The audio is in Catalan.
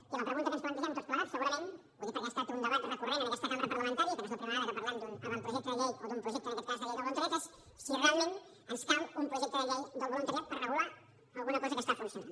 i la pregunta que ens plantegem tots plegats segurament ho dic perquè ha estat un debat recurrent en aquesta cambra parlamentària i que no és la primera vegada que parlem d’un avantprojecte de llei o d’un projecte en aquest cas de llei del voluntariat és si realment ens cal un projecte de llei del voluntariat per regular alguna cosa que està funcionant